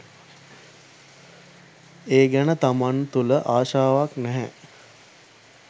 ඒ ගැන තමන් තුළ ආශාවක් නැහැ.